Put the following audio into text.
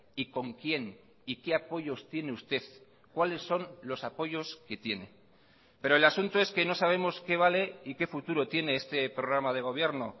y con quién y qué apoyos tiene usted cuáles son los apoyos que tiene pero el asunto es que no sabemos qué vale y qué futuro tiene este programa de gobierno